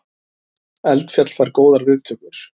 Eldfjall fær góðar viðtökur